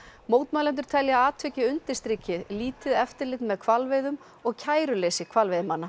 mótmælendur telja að atvikið undirstriki lítið eftirlit með hvalveiðum og kæruleysi hvalveiðimanna